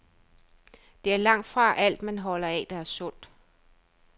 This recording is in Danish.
Det er langtfra alt, man holder af, der er sundt.